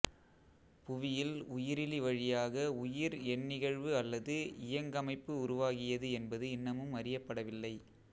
புவியில் உயிரிலிவழியாக உயிர் எந்நிகழ்வு அல்லது இயங்கமைப்பு உருவாகியது என்பது இன்னமும் அறியப்படவில்லை